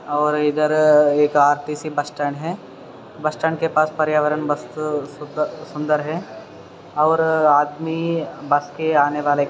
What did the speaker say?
ओर इधर एक RTC bus stand है। बस स्टैंड के पास पर्यावरण बस सु सुंदर है। और आदमी बस के लिए--